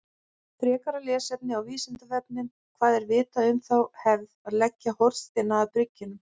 Frekara lesefni á Vísindavefnum: Hvað er vitað um þá hefð að leggja hornsteina að byggingum?